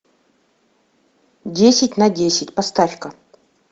десять на десять поставь ка